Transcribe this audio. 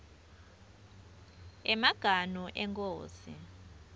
emaganu enkhosi